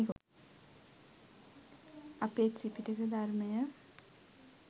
අපේ ත්‍රිපිටක ධර්මය